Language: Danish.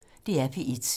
DR P1